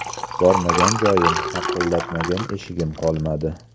Bormagan joyim, taqillatmagan eshigim qolmadi.